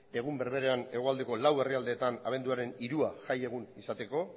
egun berberean hegoaldeko lau herrialdeetan abenduaren hirua jaieguna izateko